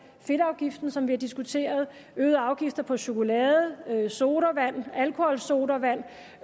fedtafgiften som vi har diskuteret øgede afgifter på chokolade sodavand alkoholsodavand